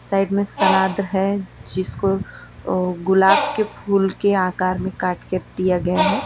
Side में सलाद है जिसको अ गुलाब के फूल के आकार में काट कर दिया गया है।